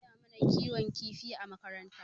An koya mana kiwon kifi a makaranta.